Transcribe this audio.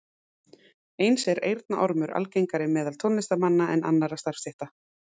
Eins er eyrnaormur algengari meðal tónlistarmanna en annarra starfsstétta.